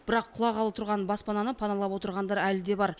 бірақ құлағалы тұрған баспананы паналап отырғандар әлі де бар